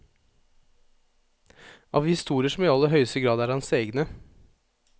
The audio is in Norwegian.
Av historier som i aller høyeste grad er hans egne.